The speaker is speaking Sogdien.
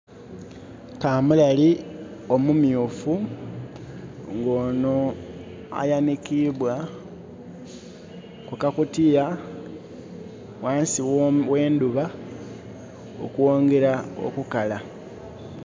Kamulali omumyufu nga onho ayanhikibwa kukakutiya ghansi gh'endhuba okwongera okukala.